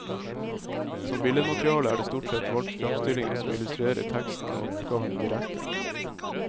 Som billedmateriale er det stort sett valgt fremstillinger som illustrerer teksten og oppgavene direkte.